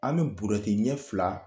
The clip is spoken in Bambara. An be burɛti ɲɛ fila